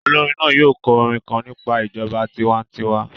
Olorin naa yoo kọ orin kan nipa ijọba tiwantiwa